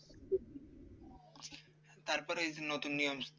তারপরে ওই যে নতুন নিয়ম